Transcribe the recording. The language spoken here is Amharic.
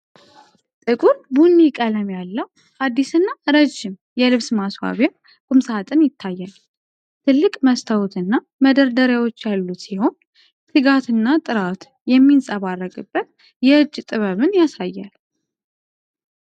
ጥቁር ቡኒ ቀለም ያለው አዲስና ረዥም የልብስ ማስዋቢያ ቁም ሣጥን ይታያል። ትልቅ መስተዋትና መደርደሪያዎች ያሉት ሲሆን፣ ትጋትና ጥራት የሚንጸባረቅበት የእጅ ጥበብን ያሳያል።